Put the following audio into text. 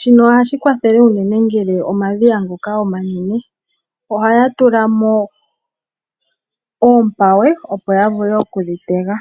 Shino ohashi kwathele unene ngele omadhiya omanene. Ihaya tula mo oompawe opo ya vule okudhi tega.